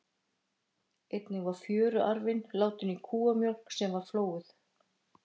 Einnig var fjöruarfinn látinn í kúamjólk sem var flóuð.